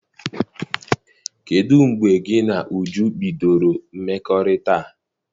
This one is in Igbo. Kedụ mgbe gị na Uju bidoro mmekọrịta a?